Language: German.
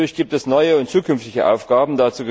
Natürlich gibt es neue und zukünftige Aufgaben.